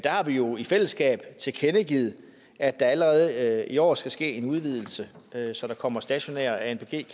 har vi jo i fællesskab tilkendegivet at der allerede i år skal ske en udvidelse så der kommer stationære anpg